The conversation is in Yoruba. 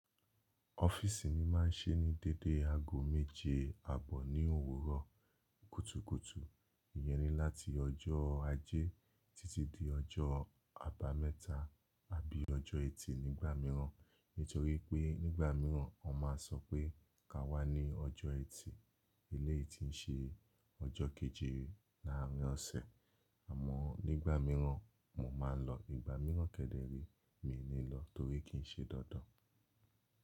Ọ́fíìsì mi máa ń ṣí ní dédé ago méje, àbọ̀ ní òwúrọ̀ kùtùkùtù. Iyẹ́ni láti ọjọ́ ajé títí dé ọjọ́ àbámẹ́ta àbí ọjọ́ ẹtì nígbà mìíràn. Nítorí pé nígbà mìíràn a máa sọ pé ka wá ní ọjọ́ ẹtì eléyìí ti ń ṣe ọjọ́ kejìlá àárín ọ̀sẹ̀. Àmọ́ nígbà mìíràn mo máa ń lọ. Ìgbà mìíràn kẹ́dẹ̀rí mi ò ní lọ torí kì í ṣe dandan.